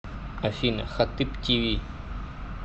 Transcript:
афина хатыб ти ви